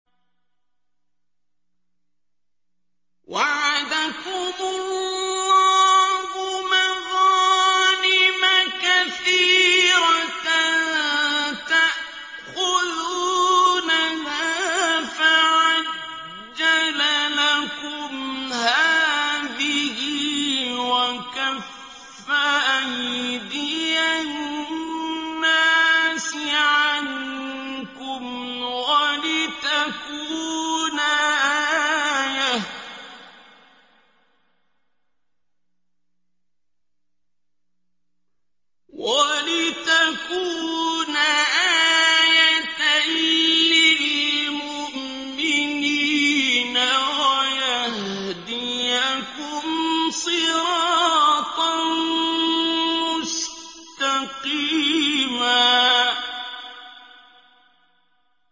وَعَدَكُمُ اللَّهُ مَغَانِمَ كَثِيرَةً تَأْخُذُونَهَا فَعَجَّلَ لَكُمْ هَٰذِهِ وَكَفَّ أَيْدِيَ النَّاسِ عَنكُمْ وَلِتَكُونَ آيَةً لِّلْمُؤْمِنِينَ وَيَهْدِيَكُمْ صِرَاطًا مُّسْتَقِيمًا